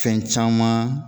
Fɛn caman